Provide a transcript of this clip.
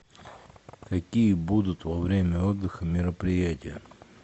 какие будут во время отдыха мероприятия